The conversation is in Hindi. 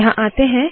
यहाँ आते है